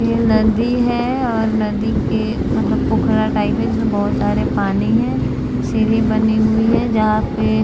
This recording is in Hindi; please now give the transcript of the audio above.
ये नदी है और नदी के मतलब पोखरा टाइप है जिसमें बहुत सारे पानी है सीढ़ी बनी हुई है जहाँ पे--